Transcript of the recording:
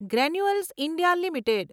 granules India limited